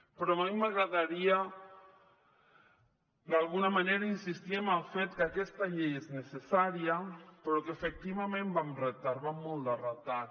però a mi m’agradaria d’alguna manera insistir en el fet que aquesta llei és necessària però que efectivament va amb retard va amb molt de retard